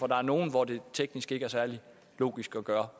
der er nogle hvor det teknisk ikke er særlig logisk gøre